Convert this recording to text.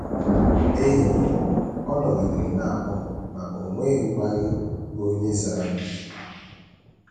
N’ehihie, ọ nọgidere na - akpọ, ma o nweghịkwa onye zara.